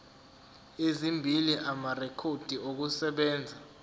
ezimbili amarekhodi okusebenza